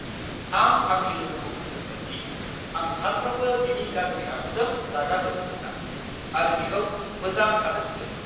आं आंनि लोगोखौ बुंदोंमोन दि आं सानफ्रोमबो बिनि गाज्रि आखुजों रागा जोङो होन्ना आरो बिखौ मोजां थानो थिन्दोंमोन!